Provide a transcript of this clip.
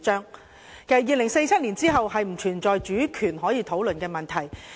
其實，在2047年後並不存在主權可以討論的問題。